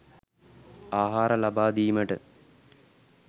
ආහාර ලබාදීමට